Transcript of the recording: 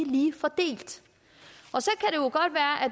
lige fordelt